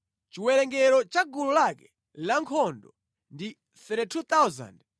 Chiwerengero cha gulu lake lankhondo ndi 32,200.